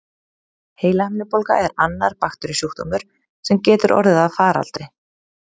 Heilahimnubólga er annar bakteríusjúkdómur, sem getur orðið að faraldri.